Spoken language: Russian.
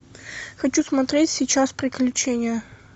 хочу смотреть сейчас приключения